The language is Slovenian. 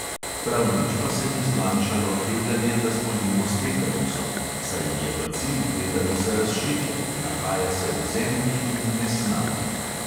Prav nič pa se ni zmanjšalo tveganje, da zbolimo s tetanusom, saj je bacil tetanusa razširjen, nahaja se v zemlji in nesnagi.